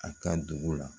A ka dugu la